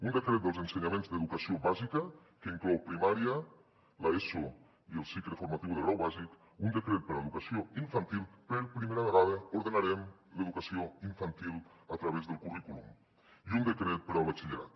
un decret dels ensenyaments d’educació bàsica que in clou primària l’eso i el cicle formatiu de grau bàsic un decret per a educació infantil per primera vegada ordenarem l’educació infantil a través del currículum i un decret per al batxillerat